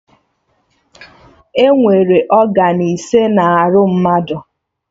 Enwere ọgan ise na arụ mmadụ